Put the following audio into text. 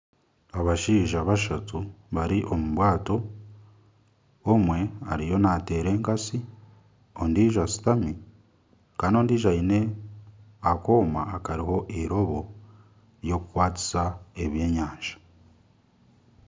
Abashaija bashatu bari omu bwato. Omwe ariyo nateera enkatsi, ondijo ashutami Kandi ondijo aine akooma akariho irobo ry'okukwatisa ebyenyanja.